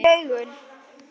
Þú færð tár í augun.